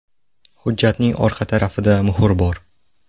Hujjatning orqa tarafida muhr bor.